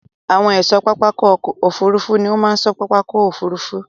Àwọn ẹ̀ṣọ́ pápákọ̀ òfurufú ní ó máa ṣọ́ pápákọ̀ òfurufú.